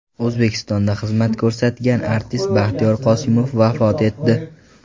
O‘zbekistonda xizmat ko‘rsatgan artist Baxtiyor Qosimov vafot etdi.